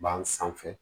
Ban sanfɛ